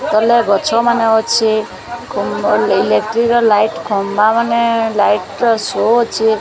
ତଲେ ଗଛ ମାନେ ଅଛେ ଇଲେକ୍ଟି ର ଲାଇଟ୍ ଖମ୍ବା ମାନେ ଲାଇଟ୍ ର ଶୋ ଅଛେ।